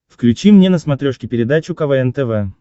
включи мне на смотрешке передачу квн тв